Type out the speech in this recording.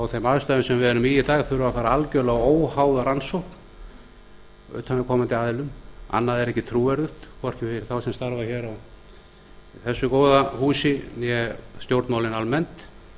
þeim aðstæðum sem við erum í í dag þurfi að fara algjörlega óháða rannsókn af utanaðkomandi aðilum annað er ekki trúverðugt hvorki fyrir þá sem starfa hér í þessu góða húsi né stjórnmálin almennt